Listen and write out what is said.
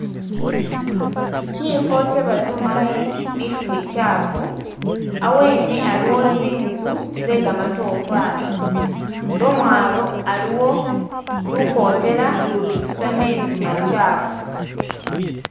Chifo kyebadumamo mutu mikyafu hawene haliwo zinzu zegamatofali lomwalo aliwo lukotela lubitisa mezi machafu